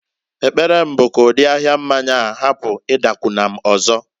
Ekpere m bụ ka ụdị ahia mmanya hapụ ịdakwụna m ọzọ.